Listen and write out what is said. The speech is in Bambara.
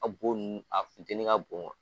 A bo ninnu a funtɛnni ka bon